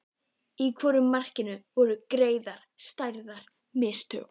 Í hvoru markinu voru gerð stærri mistök?